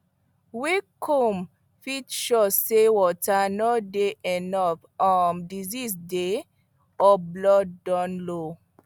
weak comb fit show say water no dey enough um disease dey or blood don low